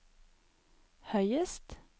høyest